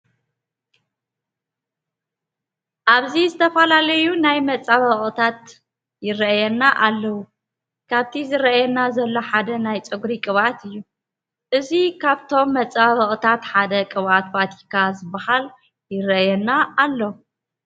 ኣብዚ ዝተፈላለዩ ናይ መፀባበቅታት ይረአዩና ኣለዉ። ካብቲ ዝረአየና ዘሎ ሓደ ናይ ፀጉሪ ቅብኣት እዩ። እዚ ካብቶም መፀባበቅታት ሓደ ቅብዓት ቫቲካ ዝባሃል ይረአየና ኣሎ።